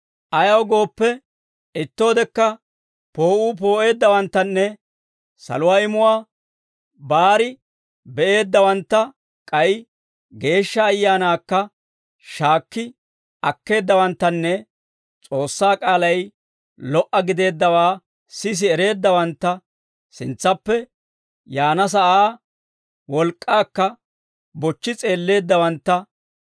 Ayaw gooppe, ittoodekka poo'uu poo'eeddawanttanne saluwaa imuwaa baari be'eeddawantta, k'ay Geeshsha Ayaanaakka shaakki akkeeddawanttanne S'oossaa k'aalay lo"a gideeddawaa sisi ereeddawantta, sintsaappe yaana sa'aa wolk'k'aakka bochchi s'eelleeddawantta,